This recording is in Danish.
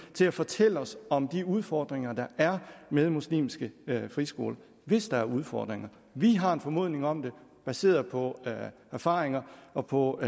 til at fortælle os om de udfordringer der er med muslimske friskoler hvis der er udfordringer vi har en formodning om det baseret på erfaringer og på